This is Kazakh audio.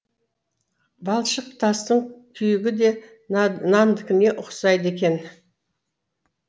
балшық тастың күйігі де нандікіне ұқсайды екен